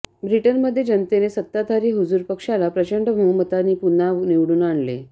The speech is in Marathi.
ब्रिटनमध्ये जनतेने सत्ताधारी हुजूर पक्षाला प्रचंड बहुमतांनी पुन्हा निवडून आणले